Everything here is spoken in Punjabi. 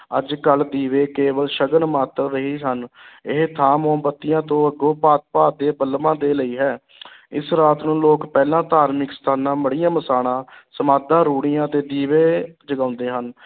ਅੱਜ-ਕਲ੍ਹ ਦੀਵੇ ਕੇਵਲ ਸ਼ਗਨ ਮਾਤਰ ਰਹੇ ਹਨ ਇਹ ਥਾਂ ਮੋਮਬੱਤੀਆਂ ਤੋਂ ਅਗੋਂ ਭਾਂਤ-ਭਾਂਤ ਦੇ ਬਲਬਾਂ ਦੇ ਲਈ ਹੈ ਇਸ ਰਾਤ ਨੂੰ ਲੋਕ ਪਹਿਲਾਂ ਧਾਰਮਿਕ ਸਥਾਨਾਂ, ਮੜ੍ਹੀਆਂ ਮਸਾਣਾਂ, ਸਮਾਧਾਂ, ਰੂੜ੍ਹੀਆਂ ਤੇ ਦੀਵੇ ਜਗਾਉਂਦੇ ਹਨ।